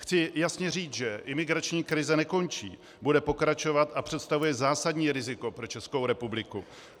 Chci jasně říct, že imigrační krize nekončí, bude pokračovat a představuje zásadní riziko pro Českou republiku.